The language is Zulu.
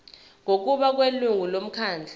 ngokubona kwelungu lomkhandlu